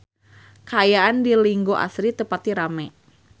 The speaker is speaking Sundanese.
Kaayaan di Linggo Asri teu pati rame